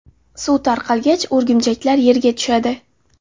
Suv tarqalgach, o‘rgimchaklar yerga tushadi.